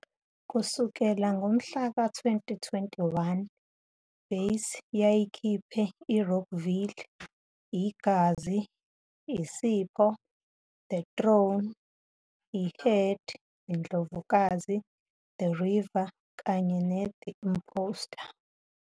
Kusukela ngomhla ka-2021, base yayikhiphe "Rockville", "iGazi," "Isipho," "The Throne," "I Herd," "Indlovukazi", "The River" kany ne"The Imposter."